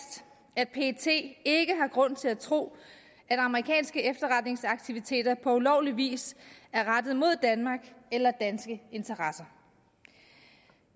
at pet ikke har grund til at tro at amerikanske efterretningsaktiviteter på ulovlig vis er rettet mod danmark eller danske interesser